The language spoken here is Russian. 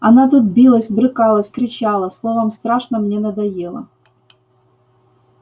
она тут билась брыкалась кричала словом страшно мне надоела